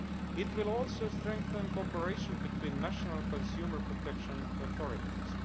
It will also strengthen cooperation between national consumer protection authorities.